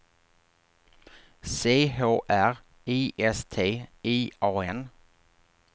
C H R I S T I A N